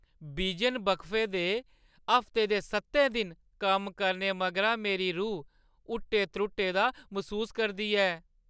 बिजन वक्फे दे हफ्ते दे सत्तै दिन कम्म करने मगरा मेरी रूह् हुट्टे-त्रुट्टे दा मसूस करदी ऐ।